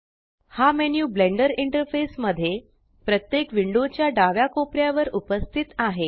हा menu Blender interface मध्ये प्रत्येक विंडोच्या डाव्या कोपऱ्यावर उपस्थित आहे